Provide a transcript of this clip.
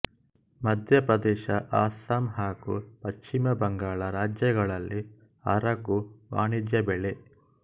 ಮಧ್ಯಪ್ರದೇಶ ಅಸ್ಸಾಮ್ ಹಾಗು ಪಶ್ಚಿಮ ಬಂಗಾಳ ರಾಜ್ಯಗಳಲ್ಲಿ ಅರಗು ವಾಣಿಜ್ಯ ಬೆಳೆ